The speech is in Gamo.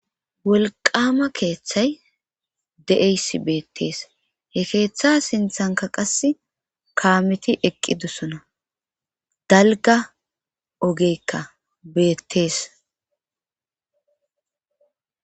wolqama keeththay de'eysi beettees he keeththa sinthanka qas kaameti eqqi dosona dalga ogeykka beettees